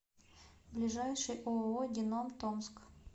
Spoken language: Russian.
ближайший ооо геном томск